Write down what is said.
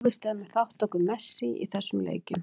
Óvíst er með þátttöku Messi í þessum leikjum.